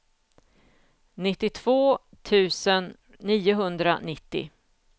nittiotvå tusen niohundranittio